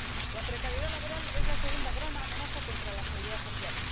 La precariedad laboral es la segunda gran amenaza contra la seguridad social.